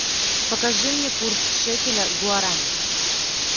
покажи мне курс шекеля к гуарани